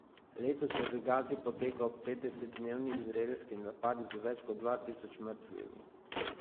Letos je v Gazi potekal petdesetdnevni izraelski napad z več kot dva tisoč mrtvimi.